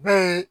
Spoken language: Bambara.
Be